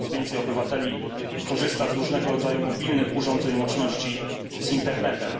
Coraz więcej obywateli korzysta z różnego rodzaju mobilnych urządzeń łączności z internetem.